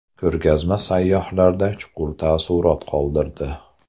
Ko‘rgazma sayyohlarda chuqur taassurot qoldirdi.